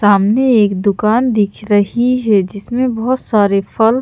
सामने एक दुकान दिख रही है जिसमें बहुत सारे फल--